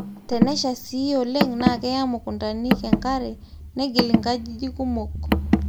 tenashaa sii oleng na keya mukutanik enkare negil inkajijik kumok